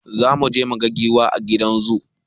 Zamuje muga giwa a gidan zu